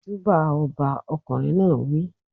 Júbà ọba! Ọkùnrin náà wí.